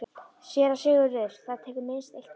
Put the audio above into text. SÉRA SIGURÐUR: Það tekur minnst eitt ár.